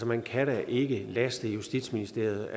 man kan da ikke laste justitsministeriet